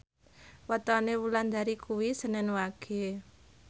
wetone Wulandari kuwi senen Wage